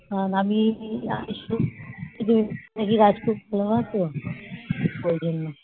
নাকি রাজকূট খোলা না তো ওই জন্য